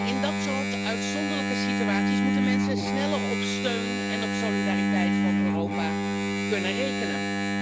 In dat soort uitzonderlijke situaties moeten mensen sneller op steun en solidariteit van Europa kunnen rekenen.